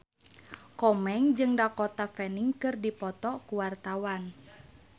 Komeng jeung Dakota Fanning keur dipoto ku wartawan